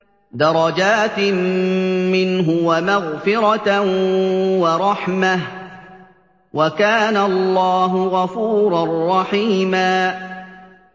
دَرَجَاتٍ مِّنْهُ وَمَغْفِرَةً وَرَحْمَةً ۚ وَكَانَ اللَّهُ غَفُورًا رَّحِيمًا